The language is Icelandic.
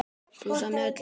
Pulsu með öllu.